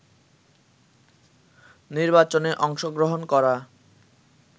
নির্বাচনে অংশগ্রহণ করা